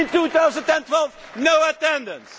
In 2012, no attendance.